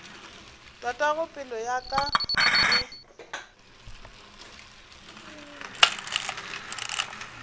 tatago pelo ya ka e